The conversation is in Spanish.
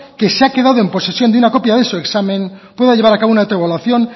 que se ha quedado en posesión de una copia de su examen pueda llevar a cabo una autoevaluación